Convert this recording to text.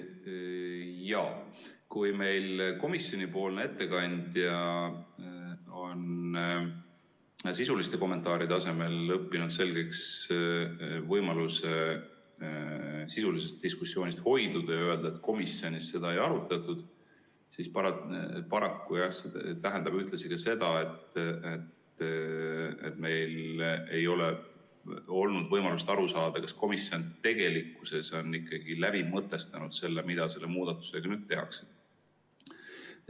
Jaa, kui meil komisjoni ettekandja on kommentaaride asemel õppinud selgeks võimaluse sisulisest diskussioonist hoiduda ja öelda, et komisjonis seda ei arutatud, siis paraku tähendab see ühtlasi seda, et meil ei ole olnud võimalust aru saada, kas komisjon tegelikkuses on ikkagi läbi mõtestanud selle, mida selle muudatusega nüüd tehakse.